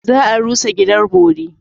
Za a rusa gidan bori.